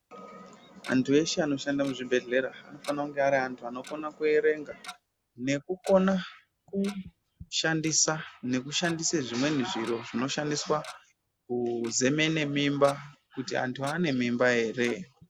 Antu eshe anoshande muzvibhehlera anofanire kunga ari anhu anokona kuerenga nekukona kushandisa nekushandise zvimweni zviro zvinoshandiswa kuzemene mimba kuti anhu ane mimba here.